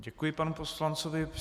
Děkuji panu poslanci.